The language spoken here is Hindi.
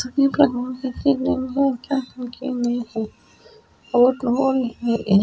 रोड दिख मे क्या कु और और इनमे--